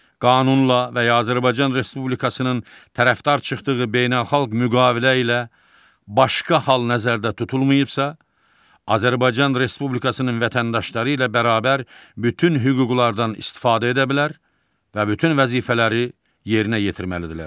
Qanunla və Azərbaycan Respublikasının tərəfdar çıxdığı beynəlxalq müqavilə ilə başqa hal nəzərdə tutulmayıbsa, Azərbaycan Respublikasının vətəndaşları ilə bərabər bütün hüquqlardan istifadə edə bilər və bütün vəzifələri yerinə yetirməlidirlər.